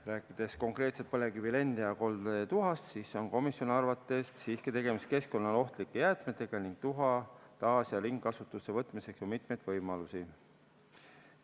Rääkides konkreetselt põlevkivi lend- ja koldetuhast, siis on komisjoni arvates siiski tegemist keskkonnale ohtlike jäätmetega ning tuha taas- ja ringkasutusse võtmiseks on mitmeid võimalusi.